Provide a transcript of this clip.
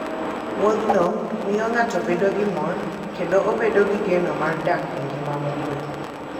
Wuodhno miyo ng'ato bedo gi mor kendo obedo gi geno mar dak e ngima mokuwe.